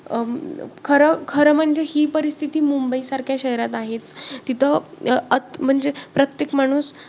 अं खरं म्हणजे ही परिस्थिती मुंबईसारख्या शहरात आहेच. तिथं म्हणजे प्रत्येक माणूस